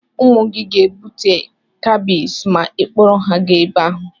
Ụmụ gị ga-ebute skabis ma ị kpọrọ ha gaa ebe ahụ.